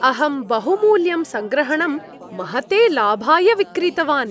अहं बहुमूल्यं सङ्ग्रहणं महते लाभाय विक्रीतवान्।